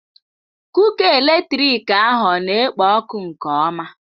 Kuka eletrik ahụ ọ na-ekpo ọkụ nke ọma?